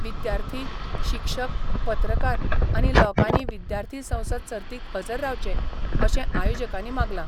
विद्यार्थी, शिक्षक, पत्रकार आनी लोकांनी विद्यार्थी संसद सर्तीक हजर रावचे, अशें आयोजकांनी मागला.